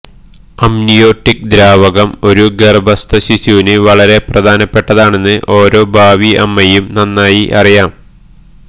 amniotic ദ്രാവകം ഒരു ഗർഭസ്ഥ ശിശുവിന് വളരെ പ്രധാനപ്പെട്ടതാണെന്ന് ഓരോ ഭാവി അമ്മയും നന്നായി അറിയാം